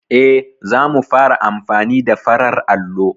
Eh, za mu fara amfani da farar allo.